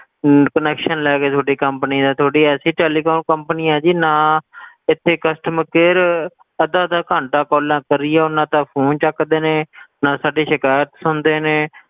ਅਮ connection ਲੈ ਗਏ ਤੁਹਾਡੇ company ਦਾ, ਤੁਹਾਡੀ ਐਸੀ telecom company ਹੈ ਜੀ ਨਾ ਇੱਥੇ costmer care ਅੱਧਾ ਅੱਧਾ ਘੰਟਾ calls ਕਰੀ ਜਾਓ ਨਾ ਤਾਂ phone ਚੱਕਦੇ ਨੇ ਨਾ ਸਾਡੀ ਸਿਕਾਇਤ ਸੁਣਦੇ ਨੇ,